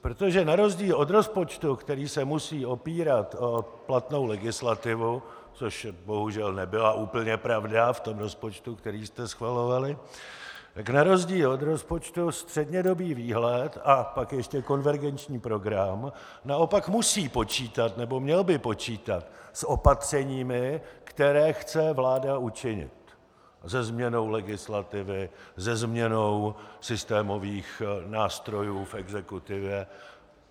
Protože na rozdíl od rozpočtu, který se musí opírat o platnou legislativu, což bohužel nebyla úplně pravda v tom rozpočtu, který jste schvalovali, tak na rozdíl od rozpočtu střednědobý výhled a pak ještě konvergenční program naopak musí počítat, nebo měl by počítat, s opatřeními, která chce vláda učinit, se změnou legislativy, se změnou systémových nástrojů v exekutivě.